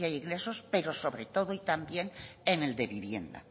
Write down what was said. garantía de ingresos pero sobre todo y también en el de vivienda